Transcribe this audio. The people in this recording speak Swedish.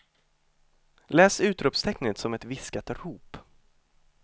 Läs utropstecknet som ett viskat rop.